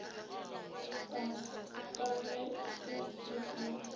ka ge se se ka